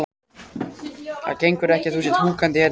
Það gengur ekki að þú sért húkandi hérna inni.